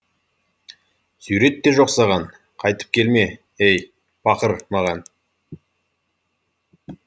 сурет те жоқ саған қайтып келме ей пақыр маған